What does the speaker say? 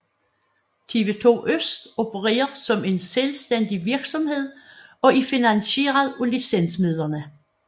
TV2 ØST opererer som en selvstændig virksomhed og er finansieret af licensmidlerne